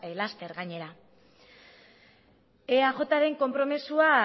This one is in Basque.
laster gainera eajren konpromisoa